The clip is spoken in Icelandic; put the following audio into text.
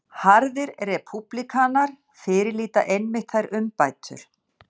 Harðir repúblikanar fyrirlíta einmitt þær umbætur